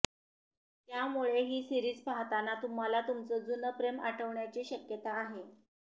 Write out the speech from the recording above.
त्यामुळे ही सीरिज पाहताना तुम्हाला तुमचं जुनं प्रेम आठवण्याची शक्यता आहे